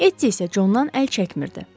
Etti isə Condan əl çəkmirdi.